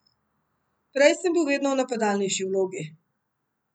Prej sem bil vedno v napadalnejši vlogi.